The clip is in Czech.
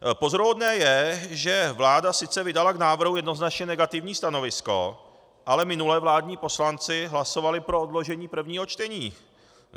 Pozoruhodné je, že vláda sice vydala k návrhu jednoznačně negativní stanovisko, ale minule vládní poslanci hlasovali pro odložení prvního čtení.